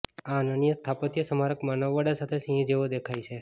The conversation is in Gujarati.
આ અનન્ય સ્થાપત્ય સ્મારક માનવ વડા સાથે સિંહ જેવો દેખાય છે